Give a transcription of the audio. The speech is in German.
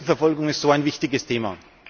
Christenverfolgung ist so ein wichtiges Thema!